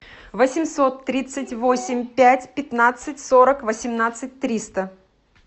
восемьсот тридцать восемь пять пятнадцать сорок восемнадцать триста